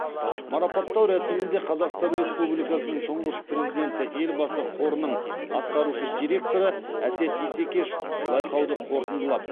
марапаттау рәсімінде қазақстан республикасының тұңғыш президенті елбасы қорының атқарушы директоры әсет исекешев байқауды қорытындылап